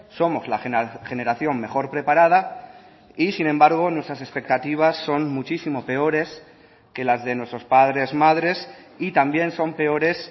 somos la generación mejor preparada y sin embargo nuestras expectativas son muchísimo peores que las de nuestros padres madres y también son peores